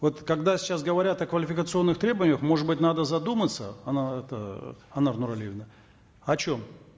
вот когда сейчас говорят о квалификационных требованиях может быть надо задуматься анар это анар нуралиевна о чем